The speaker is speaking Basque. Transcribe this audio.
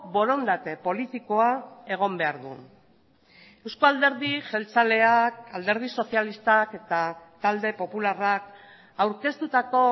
borondate politikoa egon behar du eusko alderdi jeltzaleak alderdi sozialistak eta talde popularrak aurkeztutako